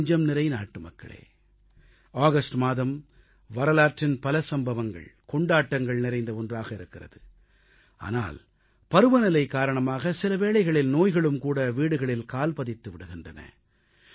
என் நெஞ்சம்நிறை நாட்டுமக்களே ஆகஸ்ட் மாதம் வரலாற்றின் பல சம்பவங்கள் கொண்டாட்டங்கள் நிறைந்த ஒன்றாக இருக்கிறது ஆனால் பருவநிலை காரணமாக சில வேளைகளில் நோய்களும் வீடுகளில் கால் பதித்து விடுகின்றன